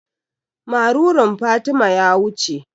Marurun Fatima ya wuce.